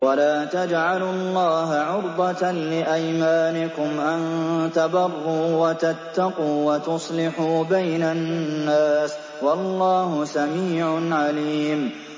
وَلَا تَجْعَلُوا اللَّهَ عُرْضَةً لِّأَيْمَانِكُمْ أَن تَبَرُّوا وَتَتَّقُوا وَتُصْلِحُوا بَيْنَ النَّاسِ ۗ وَاللَّهُ سَمِيعٌ عَلِيمٌ